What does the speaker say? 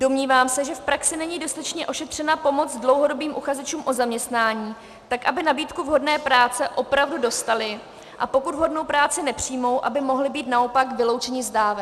Domnívám se, že v praxi není dostatečně ošetřena pomoc dlouhodobým uchazečům o zaměstnání tak, aby nabídku vhodné práce opravdu dostali, a pokud vhodnou práci nepřijmou, aby mohli být naopak vyloučeni z dávek.